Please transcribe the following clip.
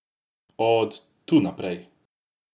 Od tu naprej?